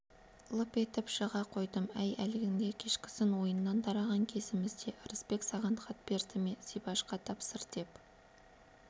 лып етіп шыға қойдым әй әлгінде кешкісін ойыннан тараған кезімізде ырысбек саған хат берді ме зибашқа тапсыр деп